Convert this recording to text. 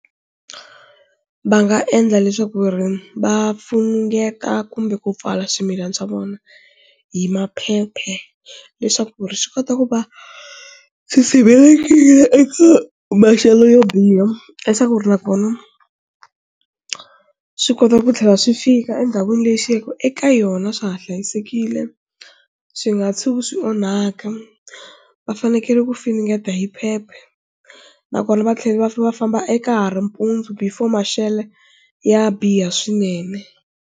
Va nga endla leswaku ri va funengeta kumbe ku pfala swimilana swa vona hi maphepha leswaku ri swi kota ku va swi sirhelelekile eka maxelo yo biha leswaku ri nakona swi kota ku tlhela swi fika endhawini leyi swi ya ku eka yona swa ha hlayisekile swi nga tshuka swi onhaka, va fanekele ku finingeta hi phepha nakona va tlhela va famba eka ha ri mpundzu before maxelo ya biha swinene.